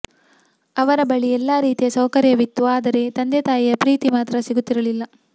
ಅವರ ಬಳಿ ಎಲ್ಲಾ ರೀತಿಯ ಸೌಕರ್ಯವಿತ್ತು ಆದರೆ ತಂದೆ ತಾಯಿಯ ಪ್ರೀತಿ ಮಾತ್ರ ಸಿಗುತ್ತಿರಲಿಲ್ಲ